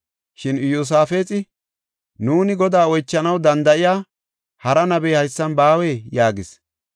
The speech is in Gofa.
Shin Iyosaafexi, “Nuuni Godaa oychanaw danda7iya hara nabey haysan baawee?” yaagis.